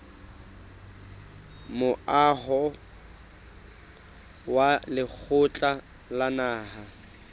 moaho wa lekgotla la naha